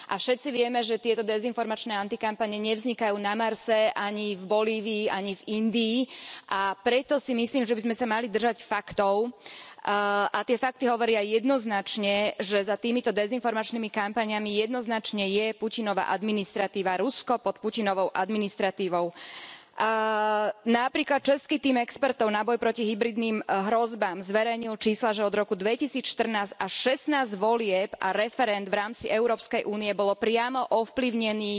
A všetci vieme, že tieto dezinformačné antikampane nevznikajú na Marse, ani v Bolívii, ani v Indii, a preto si myslím, že by sme sa mali držať faktov a tie fakty hovoria jednoznačne, že za týmito dezinformačnými kampaňami jednoznačne je Putinova administratíva, Rusko pod Putinovou administratívou. Napríklad, český tím expertov na boj proti hybridným hrozbám zverejnil čísla, že od roku 2014 až 16 volieb a referend v rámci Európskej únie bolo priamo ovplyvnených